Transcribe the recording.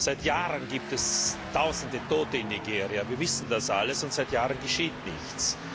Seit Jahren gibt es Tausende Tote in Nigeria. Wir wissen das alles, und seit Jahren geschieht nichts.